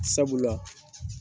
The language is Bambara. Sabula